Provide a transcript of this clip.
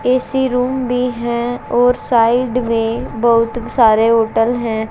AC room भी हैं और साइड में बहुत सारे होटल हैं।